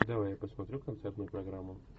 давай я посмотрю концертную программу